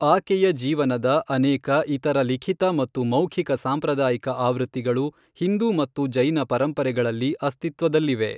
ಆಕೆಯ ಜೀವನದ ಅನೇಕ ಇತರ ಲಿಖಿತ ಮತ್ತು ಮೌಖಿಕ ಸಾಂಪ್ರದಾಯಿಕ ಆವೃತ್ತಿಗಳು ಹಿಂದೂ ಮತ್ತು ಜೈನ ಪರಂಪರೆಗಳಲ್ಲಿ ಅಸ್ತಿತ್ವದಲ್ಲಿವೆ.